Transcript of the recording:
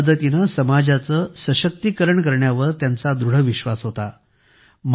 शिक्षणाच्या मदतीने समाजाचे सशक्तीकरण करण्यावर त्यांचा दृढ विश्वास होता